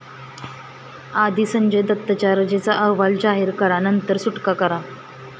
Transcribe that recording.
आधी संजय दत्तच्या रजेचा अहवाल जाहीर करा नंतर सुटका करा'